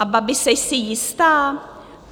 A babi, jseš si jistá?